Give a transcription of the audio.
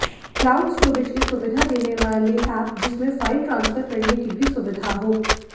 cloud storage की सुविधा देने वाले एप जिसमें फाइल ट्रांसफर करने की भी सुविधा हो